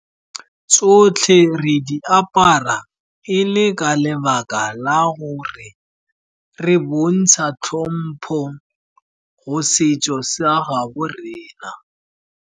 Tsotlhe re di apara e le ka lebaka la gore re bontsha tlhompo go setso sa a gaabo rena.